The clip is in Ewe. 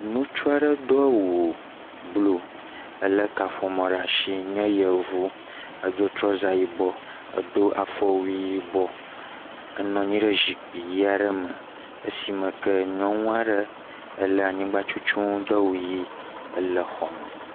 Nutsu aɖe do awu bluu, elé kaƒomɔ ɖaa ashi nye Yevu edo trɔza yibɔ, edo afɔwui yibɔ, enɔ anyi ɖe zikpi yii aɖe me esime ke nyɔnu aɖe lé anyigbatutunu do awu yii ele xɔme.